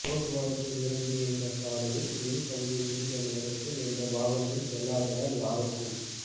போக்குவரத்து நிரம்பிய இந்த சாலையில் மின் கம்பி விழுந்த நேரத்தில் எந்த வாகனமும் செல்லாததால் யாருக்கும்